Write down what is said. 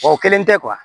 O kelen tɛ